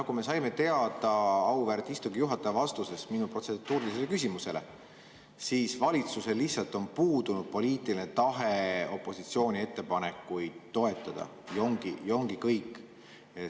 Nagu me saime teada auväärt istungi juhataja vastusest minu protseduurilisele küsimusele, siis valitsusel lihtsalt on puudunud poliitiline tahe opositsiooni ettepanekuid toetada ja ongi kõik.